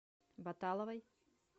боталовой